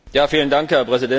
Herr Präsident!